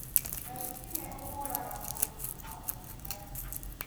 Ngai tiwe ũhũraga mũndũ na maũndũ maya